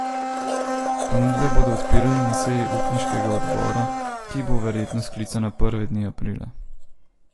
Ponudbe bodo odpirali na seji upniškega odbora, ki bo verjetno sklicana prve dni aprila.